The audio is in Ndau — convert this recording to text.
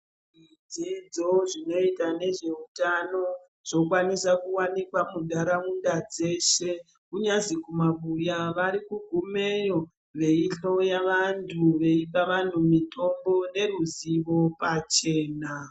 Dzidzo zvinoita nezveutano zvokwanisa kuwanikwa muntaraunda dzeshe kunyazi kumabuya varikugumeyo veihloya vantu, veipa vantu mitombo neruzivo pachena.